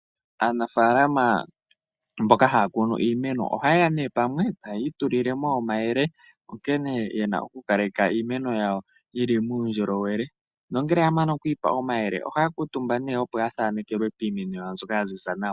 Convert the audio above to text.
Aanafaalama mboka haya kunu iimeno oha yeya nee pamwe taya itululemo omayele nkene yena okukaleka iimeno yawo yili muundjolowele ,nongele yamana oku ipa omayele ohaya kuutumba nee opo ya thanekelwe piimeno yawo mbyoka ya ziza nawa , etaya itulilemo omayele onkene yena okukaleka iimeno yawo yili muundjolowele nongele ya mana okwiipa omayele ohaya kuutumba nee opo ya thanekelwe piimeno yawo mbyoka yaziza nawa.